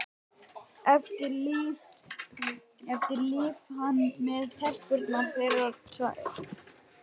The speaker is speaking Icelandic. Eftir lifi hann með telpurnar þeirra tvær.